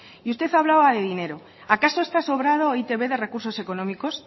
usted hablaba de dinero acaso está sobrado e i te be de recursos económicos